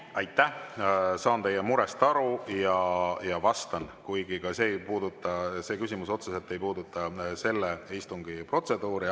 Ma saan teie murest aru ja vastan, kuigi ka see küsimus ei puuduta otseselt selle istungi protseduuri.